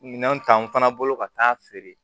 Minɛnw ta n fana bolo ka taa feere